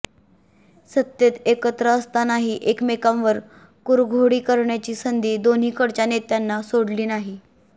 सत्तेत एकत्र असतानाही एकमेकांवर कुरघोडी करण्याची संधी दोन्हीकडच्या नेत्यांना सोडली नाही